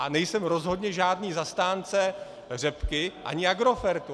A nejsem rozhodně žádný zastánce řepky ani Agrofertu.